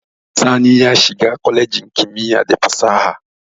Sani ya shiga kwalejin kimiyya da fasaha.